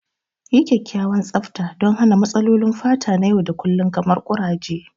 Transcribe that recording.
Yi kyakkyawan tsafta don hana matsalolin fata na yau da kullun kamar kuraje.